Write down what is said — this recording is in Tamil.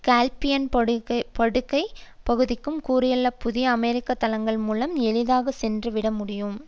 காஸ்பியன் படுகை பகுதிக்கும் சுற்றியுள்ள புதிய அமெரிக்க தளங்கள் மூலம் எளிதாக சென்று விட முடியும்